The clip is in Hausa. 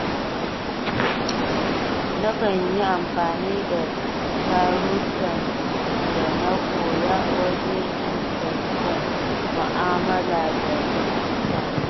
Nakan yi amfani da darussan da na koya waje inganta mu'amala da mutane.